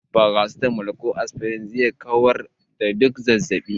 Farasitamol ko asfirin zai kawar da duk wani zazzabi.